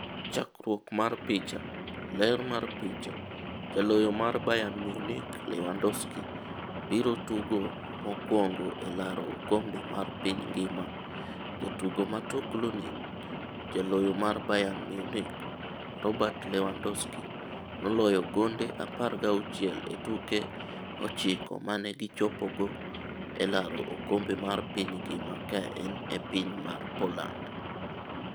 Chakruok mar picha, Getty Images. Ler mar picha, Jaloyo mar Bayern Munich, Lewandowski, biro tugo mokwongo e laro oKombe mar piny ngimaJatugo ma tuklu ni: Jaloyo mar Bayern Munich, Robert Lewandowski, noloyo gonde 16 e tuke ochiko mane gi chopogo e laro okombe mar piny ngima kaen e piny mar Poland.